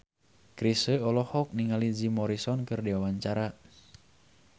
Chrisye olohok ningali Jim Morrison keur diwawancara